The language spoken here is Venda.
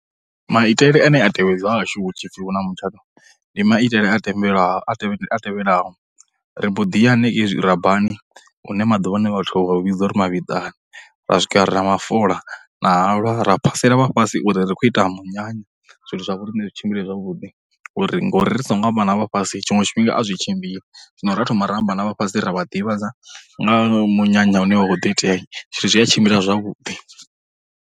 Maitele ane a tevhedzwa hahashu hu tshi pfhi huna mutshato ndi maitele a thembelaho a tevhe, a tevhelaho. Ri mbo ḓi ya hanengei zwirabani hune maḓuvhano vhathu vha vho vhidza uri mavhiḓani, ra swika ra mafola na halwa ra phasela vha fhasi uri ri khou ita munyanya zwithu zwa vho riṋe zwi tshimbile zwavhuḓi uri ngauri ri songo amba na vha fhasi tshiṅwe tshifhinga a zwi tshimbili, zwino ra thoma ra amba na vha fhasi ra vha ḓivhadza nga munyanya une wa khou ḓo itea, zwithu zwi a tshimbila zwavhuḓi.